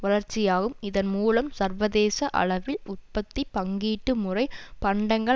வளர்ச்சியாகும் இதன்மூலம் சர்வதேச அளவில் உற்பத்தி பங்கீட்டு முறை பண்டங்கள்